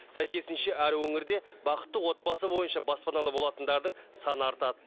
сәйкесінше әр өңірде бақытты отбасы бойынша баспаналы болатындардың саны артады